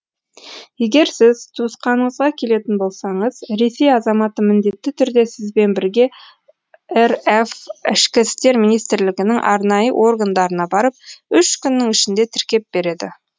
егер сіз туысқаныңызға келетін болсаңыз ресей азаматы міндетті түрде сізбен бірге рф ішкі істер министрлігінің арнайы органдарына барып үш күннің ішінде тіркеп береді